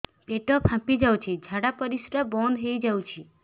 ପେଟ ଫାମ୍ପି ଯାଉଛି ଝାଡା ପରିଶ୍ରା ବନ୍ଦ ହେଇ ଯାଉଛି